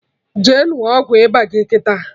Jee ṅụọ ọgwụ ịba gị kịta!